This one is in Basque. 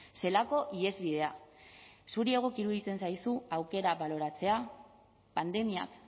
zelako ihesbidea zuri egoki iruditzen zaizu aukera baloratzea pandemiak